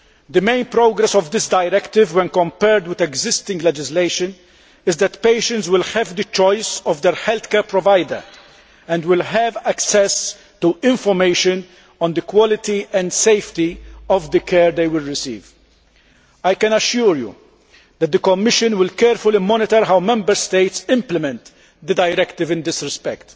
The main progress achieved by this directive, as compared with existing legislation, is that patients will be able to choose their healthcare provider and will have access to information on the quality and safety of the care they will receive. I can assure you that the Commission will carefully monitor how Member States implement the directive in that respect.